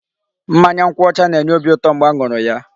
Mmanya nkwụ ọcha na-enye obi ụtọ mgbe a ṅụrụ ya.